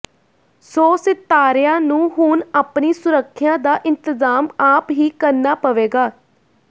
ਸੋ ਸਿਤਾਰਿਆਂ ਨੂੰ ਹੁਣ ਆਪਣੀ ਸੁਰੱਖਿਆ ਦਾ ਇੰਤਜ਼ਾਮ ਆਪ ਹੀ ਕਰਨਾ ਪਵੇਗਾ